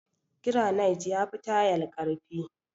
Garanait ya fi tayal ƙarfi.